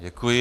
Děkuji.